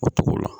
O togo la